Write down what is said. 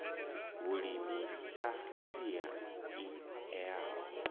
vhulimi sa sia i eaho